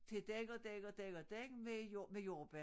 Til den og den og den og den med jord med jordbær